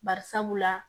Bari sabula